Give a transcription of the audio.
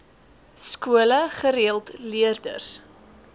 skole gereeld leerders